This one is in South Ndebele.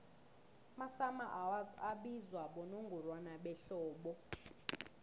amasummer awards abizwa bonongorwana behlobo